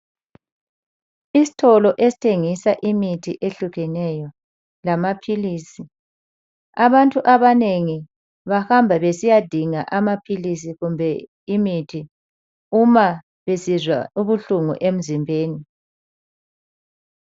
Isitolo esithengisa imithi ehlukeneyo lamaphilisi. Abantu abanengi bahamba besiyadinga imithi kumbe amaphilisi nxa besizwa ubuhlungu emzimbeni.